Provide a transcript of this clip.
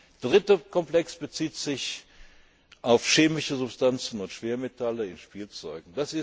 Der dritte Komplex bezieht sich auf chemische Substanzen und Schwermetalle in Spielzeugen.